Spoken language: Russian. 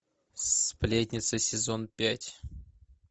сплетница сезон пять